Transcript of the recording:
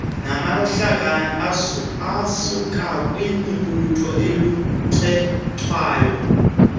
namahlakani asukakwimibutho olucetywayo